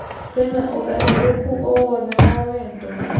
kwina ũgarũrũku owothe wa wendo